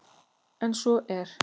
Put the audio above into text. En svo er